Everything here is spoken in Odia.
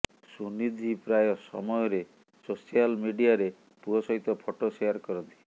ସୁନିଧି ପ୍ରାୟ ସମୟରେ ସୋଶାଲ୍ ମିଡିଆରେ ପୁଅ ସହିତ ଫଟୋ ଶେଆର୍ କରନ୍ତି